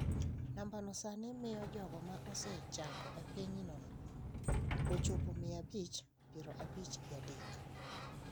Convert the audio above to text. Nambano sani miyo jogo ma osechango e pinyno chopo mia abich piero abich gi adek.